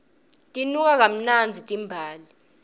tinuka kamnandzi timbali